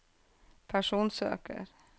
personsøker